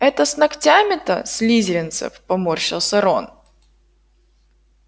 это с ногтями-то слизеринцев поморщился рон